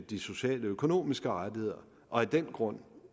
de sociale og økonomiske rettigheder og af den grund